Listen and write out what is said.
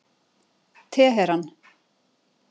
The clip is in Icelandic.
Teheran